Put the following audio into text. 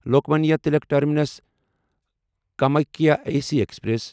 Lokmanya Tilak terminus Kamakhya AC express